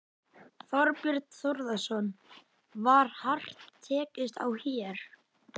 Þorbjörn Þórðarson: Var hart tekist á hér?